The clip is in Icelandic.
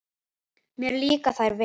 Mér líka þær vel.